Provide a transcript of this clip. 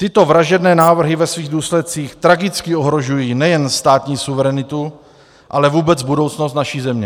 Tyto vražedné návrhy ve svých důsledcích tragicky ohrožují nejen státní suverenitu, ale vůbec budoucnost naší země.